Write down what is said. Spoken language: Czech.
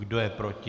Kdo je proti?